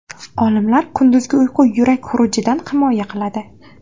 Olimlar: Kunduzgi uyqu yurak xurujidan himoya qiladi.